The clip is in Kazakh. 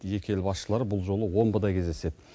екі ел басшылары бұл жолы омбыда кездеседі